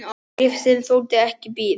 Bréfið, sem þoldi ekki bið